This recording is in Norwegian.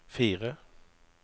fire